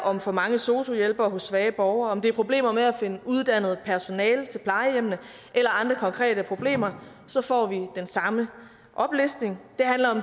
om for mange sosu hjælpere hos svage borgere eller om problemer med at finde uddannet personale til plejehjemmene eller andre konkrete problemer så får vi den samme oplistning